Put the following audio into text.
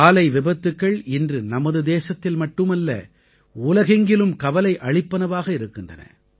சாலை விபத்துக்கள் இன்று நமது தேசத்தில் மட்டுமல்ல உலகெங்கிலும் கவலை அளிப்பனவாக இருக்கின்றன